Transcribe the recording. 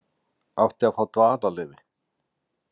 Átti að fá dvalarleyfi